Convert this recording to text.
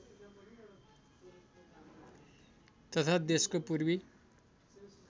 तथा देशको पूर्वी